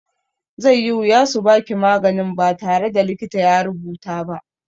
Zai yi wuya su baki maganin ba tare da likita ya rubuta ba.